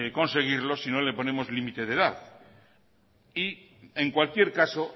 conseguirlo si no le ponemos límite de edad y en cualquier caso